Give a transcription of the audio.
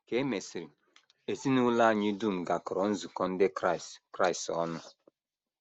Ka e mesịrị, ezinụlọ anyị dum gakọrọ nzukọ ndị Kraịst Kraịst ọnụ.